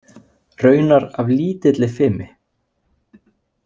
Raunar af lítilli fimi.